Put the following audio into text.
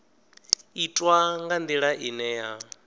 itwa nga ndila ine ya